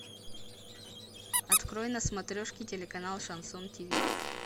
открой на смотрешке телеканал шансон тиви